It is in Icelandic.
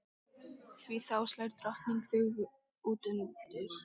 Því þá slær drottning þig utanundir.